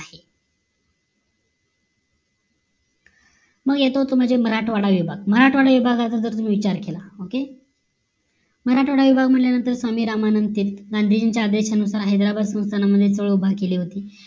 मग येतो तो म्हणजे मराठावाड विभाग मराठवाडा याचा जा तुम्ही विचार केला okay मराठा विभाग म्हटलं नंतर स्वामीरामानंद तीर्थ गांधीजींचा आदेशानुसार हैदराबाद सुलतान मध्ये चालुवाली भाग केली होती